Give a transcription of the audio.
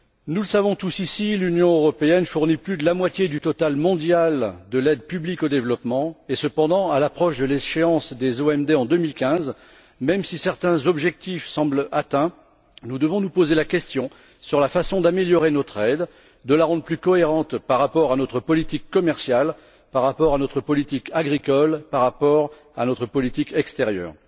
Nous le savons tous ici l'Union européenne fournit plus de la moitié du total mondial de l'aide publique au développement et, cependant, à l'approche de l'échéance des OMD en 2015, même si certains objectifs semblent atteints, nous devons nous interroger sur la façon d'améliorer notre aide, de la rendre plus cohérente par rapport à notre politique commerciale, par rapport à notre politique agricole et par rapport à notre politique extérieure.